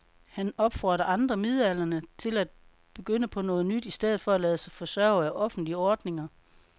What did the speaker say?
Han opfordrer andre midaldrende til at begynde på noget nyt i stedet for at lade sig forsørge af offentlige ordninger.